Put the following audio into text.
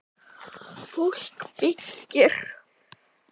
Fólk byggir.